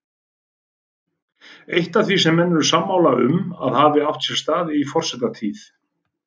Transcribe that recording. Eitt af því sem menn eru sammála um að hafi átt sér stað í forsetatíð